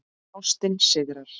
Ástin sigrar